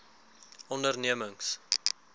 ondernemings